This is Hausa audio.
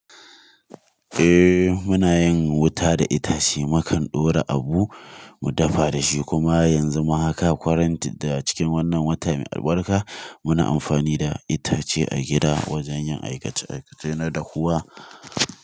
Eh muna yin wuta da itace, mukan ɗora abu mu dafa da shi kuma yanzu ma haka quarantine a cikin wannan wata mai albarka muna amfani da itace a gida wajen yin aikace-aikacena dahuwa.